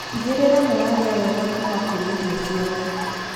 Tigĩrĩra nĩ warĩa wega kũma kũrĩ irio ciothe.